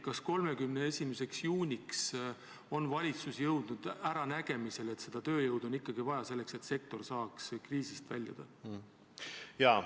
Kas 31. juuniks on valitsus jõudnud äranägemisele, et seda tööjõudu on ikkagi vaja, selleks et sektor saaks kriisist väljuda?